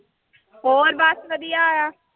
ਹੋਰ ਬਸ ਵਧੀਆ ਆ।